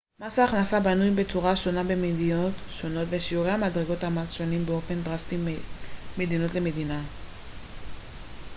מס הכנסה בנוי בצורה שונה במדינות שונות ושיעורי ומדרגות המס שונים באופן דרסטי בין מדינה למדינה